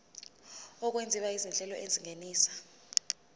okwenziwa izinhlelo ezingenisa